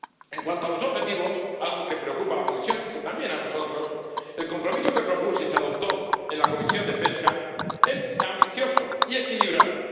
En cuanto a los objetivos, algo que preocupa a la Comisión y también a nosotros, el compromiso que propuse y se adoptó en la Comisión de Pesca es ambicioso y equilibrado.